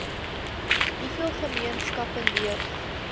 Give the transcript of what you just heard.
hoeveel gemeenskappe leef